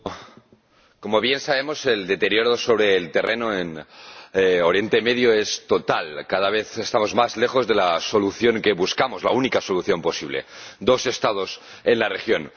Señor Presidente, como bien sabemos, el deterioro sobre el terreno en Oriente Próximo es total. Cada vez estamos más lejos de la solución que buscamos, la única solución posible dos Estados en la región.